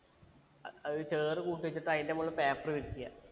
അഹ് അത് ചേറ് കൂട്ടി വെച്ചിട്ട് അതിന്റെ മോളിൽ paper വിരിക്ക